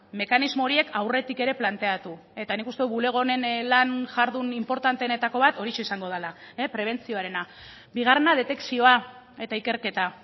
mekanismo horiek aurretik ere planteatu eta nik uste dut bulego honen lan jardun inportanteenetako bat horixe izango dela prebentzioarena bigarrena detekzioa eta ikerketa